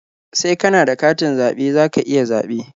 Sai ka na da katin zaɓe za ka iya zaɓe.